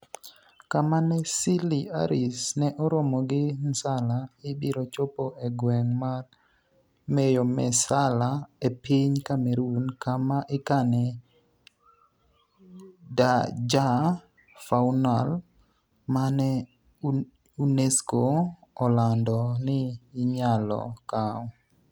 kama ne Seeley Harris ne oromo gi Nsala, ibiro chopo e gweng' mar Meyomessala e piny Cameroon kama ikane Dja Faunal, mane UNESCO olando ni inyalo kaw